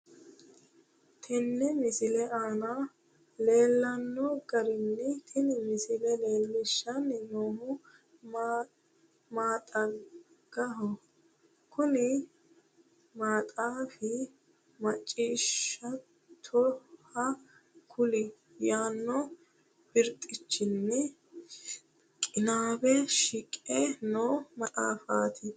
Tenne misile aana leellanno garinni tini misile leellishshanni noohu maxaagaho. Kuni maxaafi macciishshattoha kulie yaanno birxichinni qinaawe shiqe noo maxaafaati.